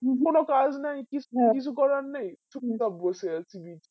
কাজ নেই কি কিছু করার নেই চুপ চাপ বসে আছি জি